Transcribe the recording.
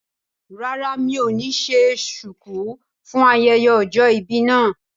Rárá mi ò ní ṣe ṣùkú fún ayẹyẹ ọjọ́ ìbí mi